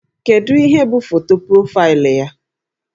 Kedu ihe bụ foto profaịlụ ya?